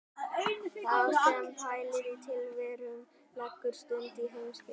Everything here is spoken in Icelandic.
Sá sem pælir í tilverunni leggur stund á heimspeki.